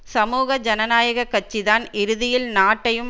சமூக ஜனநாயக கட்சிதான் இறுதியில் நாட்டையும்